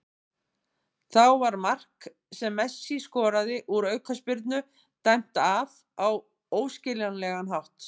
Þá var mark sem Messi skoraði úr aukaspyrnu dæmt af á óskiljanlegan hátt.